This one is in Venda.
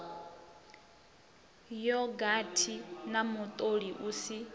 yogathi na mutoli u si